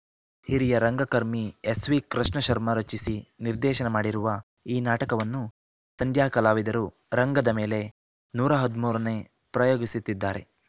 ಹಿರಿಯ ರಂಗಕರ್ಮಿ ಎಸ್‌ವಿ ಕೃಷ್ಣ ಶರ್ಮ ರಚಿಸಿ ನಿರ್ದೇಶನ ಮಾಡಿರುವ ಈ ನಾಟಕವನ್ನು ಸಂಧ್ಯಾ ಕಲಾವಿದರು ರಂಗದ ಮೇಲೆ ನೂರ ಹದಿಮೂರನೇ ಪ್ರಯೋಗಿಸುತ್ತಿದ್ದಾರೆ